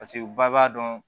Paseke u ba b'a dɔn